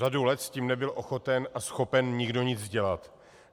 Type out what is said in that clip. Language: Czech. Řadu let s tím nebyl ochoten a schopen nikdo nic dělat.